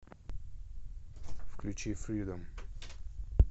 включи фридом